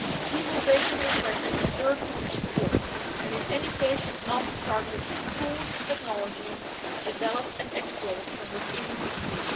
People facing repression deserve EU support, and in any case should not be targeted with tools and technologies developed and exported from within the EU.